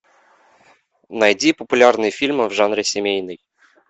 найди популярные фильмы в жанре семейный